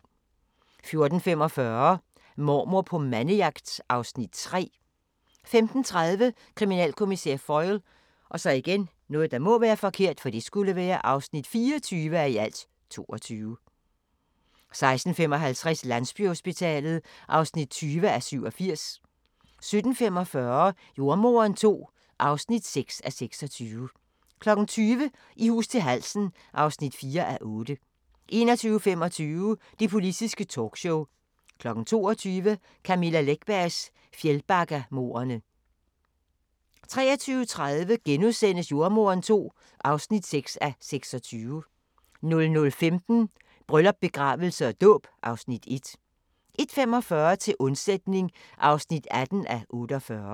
14:45: Mormor på mandejagt (Afs. 3) 15:30: Kriminalkommissær Foyle (24:22) 16:55: Landsbyhospitalet (20:87) 17:45: Jordemoderen II (6:26) 20:00: I hus til halsen (4:8) 21:25: Det politiske talkshow 22:00: Camilla Läckbergs Fjällbackamordene 23:30: Jordemoderen II (6:26)* 00:15: Bryllup, begravelse og dåb (Afs. 1) 01:45: Til undsætning (18:48)